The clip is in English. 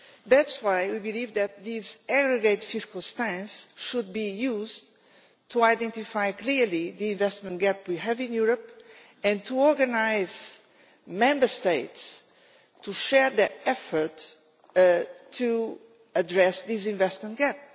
That is why we believe that this aggregate fiscal stance should be used to identify clearly the investment gap we have in Europe, and to organise Member States to share their efforts to address this investment gap.